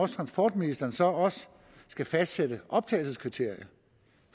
transportministeren så også skal fastsætte optagelseskriterierne